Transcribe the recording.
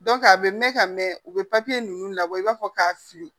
a bɛ mɛn ka mɛn u bɛ papiye ninnu labɔ i b'a fɔ k'a fili